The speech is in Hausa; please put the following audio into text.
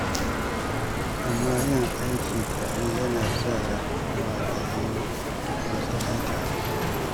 Amma yin aiki tare yana iya sa wa a yi wasanni tare.